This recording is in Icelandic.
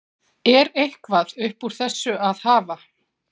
Er eitthvað upp úr þessu að hafa?